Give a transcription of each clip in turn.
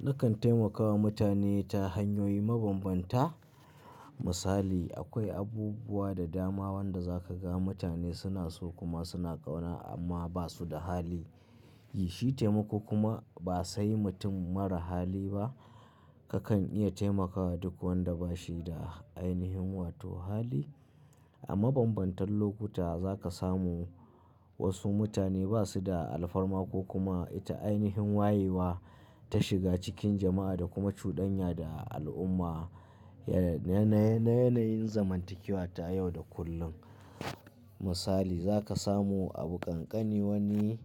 Nakan taimakawa mutane ta hanyoyi mabambanta. Misali, akwai abubuwa da dama wanda za ka ga mutane suna so kuma suna ƙauna amma ba su da hali. Yi shi taimako kuma ba sai mutum mara hali ba. Kakan iya taimakawa duk wanda ba shi da ainihin wato hali. A mabambantan lokuta za ka samu wasu mutane ba su da alfarma ko kuma ita ainihin wayewa ta shiga cikin jama'a da kuma cudanya da al'umma. Na yanayin zamantakewa ta yau da kullum. Misali, za ka samu abu kankani wani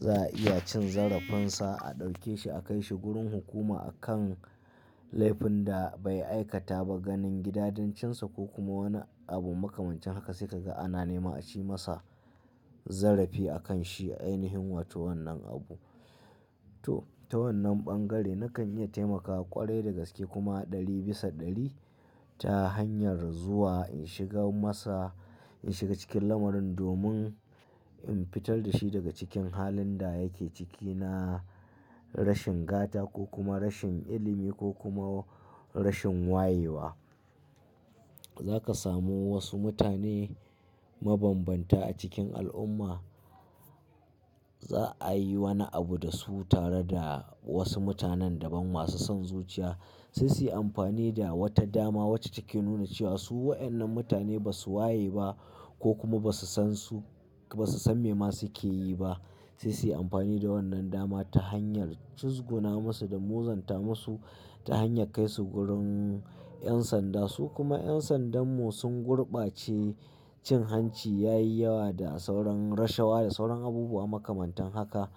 za a iya cin zarafin sa a ɗauke shi a kai shi gurin hukuma a kan laifin da bai aikata ba ganin gida djincinsa ko kuma wani abun makamantan haka sai ka ga ana nema a ci masa zarafi a kan shi a ainihin wato wannan abu. To, ta wannan ɓangare na kan iya taimakawa ƙwarai da gaske kuma ɗari bisa ɗari ta hanyar zuwa in shiga masa, in shiga cikin lamarin domin in fitar da shi daga cikin halin da yake ciki na rashin gata ko kuma rashin ilimi ko kuma rashin wayewa. Za ka samu wasu mutane mabambanta a cikin al'umma. Za a yi wani abu da su tare da wasu mutanen daban masu son zuciya. Sai su yi amfani da wata dama wacce take nuna cewa su waɗannan mutane ba su waye ba ko kuma ba su san su, ba su san me ma suke yi ba. Sai su yi amfani da wannan dama ta hanyar cizgona masu da muzanta masu ta hanyar kai su gurin 'yan sanda su kuma 'yan sandan mu sun gurbace cin hanci ya yi yawa da sauran rashawa da sauran abubuwa makamantan haka.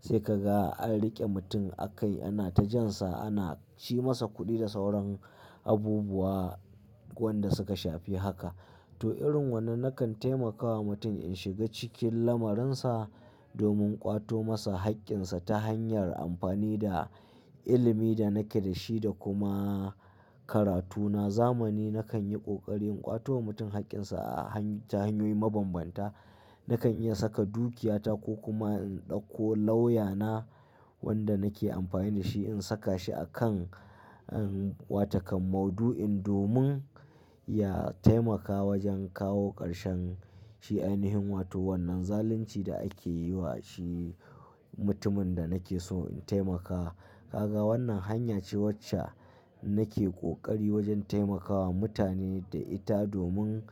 Sai ka ga an riƙe mutum a kai ana ta jan sa ana ci masa kuɗi da sauran abubuwa wanda suka shafi haka. To irin wannan na kan taimakawa mutum in shiga cikin lamarin sa domin ƙwato masa haƙƙinsa ta hanyar amfani da ilimi da nake da shi da kuma karatuna. Zamani na kan yi ƙoƙari in ƙwato wa mutum haƙƙinsa ta hanyoyi mabambanta. Na kan iya saka dukiyata ko kuma in ɗauko lauyana wanda nake amfani da shi in saka shi a kan, ah, watakan mauɗu'in domin ya taimaka wajen kawo ƙarshen shi ainihin wato wannan zalunci da ake yi wa shi mutumin da nake so in taimaka. Ka ga wannan hanya ce wacce nake ƙoƙari wajen taimakawa mutane da ita domin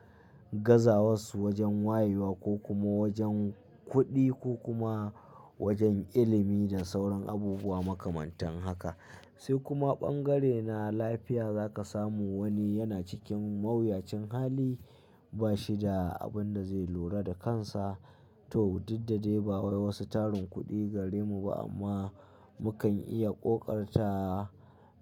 gaza wasu wajen wayewa ko kuma wajen kuɗi ko kuma wajen ilimi da sauran abubuwa makamantan haka. Sai kuma bangare na lafiya za ka samu wani yana cikin mawuyacin hali ba shi da abun da zai lura da kansa. To, duk da dai ba wa wasu tarin kuɗi gare mu ba amma mu kan iya ƙoƙarta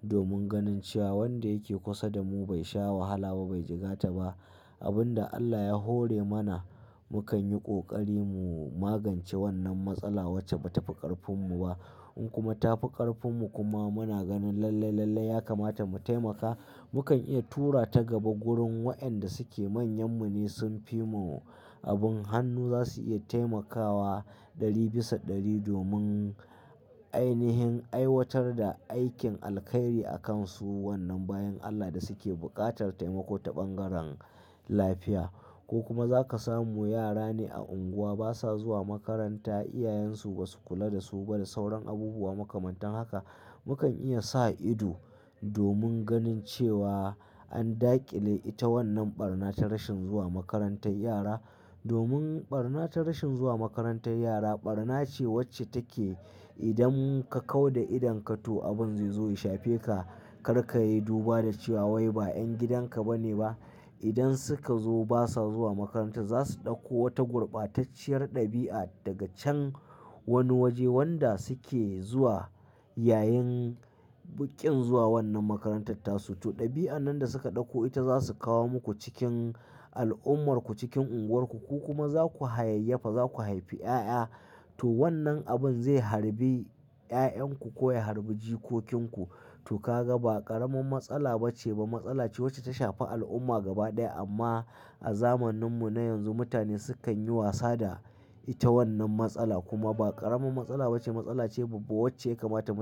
domin ganin cewa wanda yake kusa da mu bai sha wahala ba bai jigata ba. Abun da Allah ya hore mana mu kan yi ƙoƙari mu magance wannan matsala wacce ba ta fi ƙarfin mu ba. In kuma ta fi ƙarfin mu kuma muna ganin lalle, lalle ya kamata mu taimaka, mu kan iya tura ta gaba gurin wa'yanda suke manyan mu ne sun fi mu abin hannu za su iya taimakawa ɗari bisa ɗari domin ainihin aiwatar da aikin alkhairi a kan su wannan bayan Allah da suke buƙatar taimako ta bangaren lafiya. Ko kuma za ka samu yara ne a unguwa basa zuwa makaranta, iyayen su ba su kula da su ba da sauran abubuwa makamantan haka. Mu kan iya sa ido domin ganin cewa an daƙile ita wannan ɓarna ta rashin zuwa makarantar yara. Domin ɓarna ta rashin zuwa makarantar yara ɓarna ce wacce take idan ka kau da idon ka to abun zai zo ya shafe ka kar ka yi duba da cewa wai ba 'yan gidan ka ba ne ba. Idan suka zo basa zuwa makaranta za su ɗauko wata gurbatacciyar ɗabi'a daga can wani waje wanda suke zuwa yayin bukin zuwa wannan makarantar tasu. To, ɗabi'an nan da suka ɗauko ita za su kawo muku cikin al'ummar ku cikin unguwar ku ko kuma za ku hayayyafa za ku haifi 'ya'ya. To, wannan abun zai harbi 'ya'yan ku ko ya harbi jikokinku. To ka ga ba ƙaramin matsala bace ba matsala ce wacce ta shafi al'umma gaba ɗaya amma a zamanin mu na yanzu mutane su kan yi wasa da ita wannan matsala kuma ba ƙaramin matsala bace matsala ce babba wacce ya kamata mu.